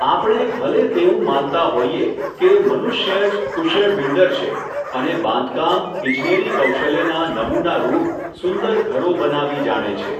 આપણે ભલે તેવું માનતા હોઈએ કે મનુષ્યજ કુશળ બિલ્ડર છે અને બાંધકામ ઈજનેરી કૌશલ્યના નમૂના રુપ સુંદર ઘરો બનાવી જાણે છે.